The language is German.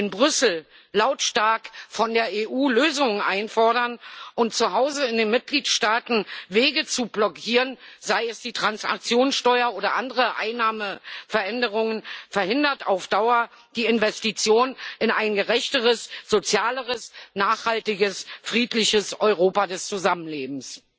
In Brüssel lautstark von der EU Lösungen einzufordern und zu Hause in den Mitgliedsstaaten Wege zu blockieren, sei es die Transaktionssteuer oder andere Einnahmenveränderungen, verhindert auf Dauer die Investition in ein gerechteres, sozialeres, nachhaltiges und friedliches Europa des Zusammenlebens.